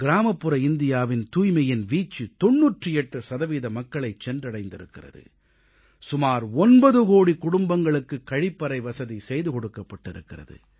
கிராமப்புற இந்தியாவின் தூய்மையின் வீச்சு 98 சதவீத மக்களைச் சென்றடைந்திருக்கிறது சுமார் 9 கோடிக் குடும்பங்களுக்குக் கழிப்பறை வசதி செய்து கொடுக்கப்பட்டிருக்கிறது